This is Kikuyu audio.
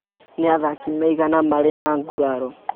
Nĩ athaki aigana marĩ na nguraro?